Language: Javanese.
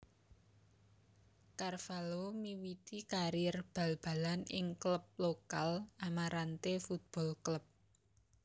Carvalho miwiti karir bal balan ing klub lokal Amarante Futebol Clube